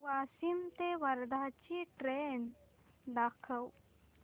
वाशिम ते वर्धा ची ट्रेन दाखव